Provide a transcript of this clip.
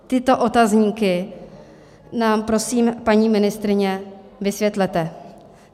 Tyto otazníky nám prosím, paní ministryně, vysvětlete.